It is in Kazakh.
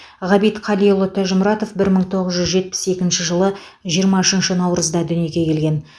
ғабит қалиұлы тәжімұратов бір мың тоғыз жүз жетпіс екінші жылы жиырма үшінші наурызда дүниеге келген